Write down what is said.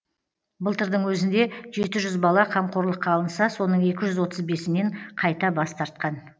былтырдың өзінде жеті жүз бала қамқорлыққа алынса соның екі жүз отыз бесінен қайта бас тартқан